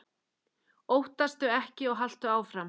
Óttastu ekki og haltu áfram!